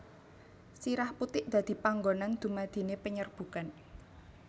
Sirah putik dadi panggonan dumadine penyerbukan